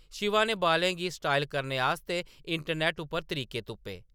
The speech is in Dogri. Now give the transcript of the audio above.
शिवा ने बालें गी स्टाइल करने आस्तै इंटरनैट्ट उप्पर तरीके तुप्पे।